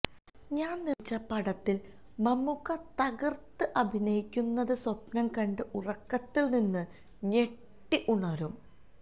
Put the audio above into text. താൻ നിർമിച്ച പടത്തിൽ മമ്മുക്ക തകർത്ത് അഭിനയിക്കുന്നത് സ്വപ്നം കണ്ട് ഉറക്കത്തിൽ നിന്ന് ഞെട്ടി ഉണരും